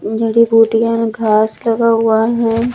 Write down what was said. जड़ी बूटियां घास लगा हुआ है।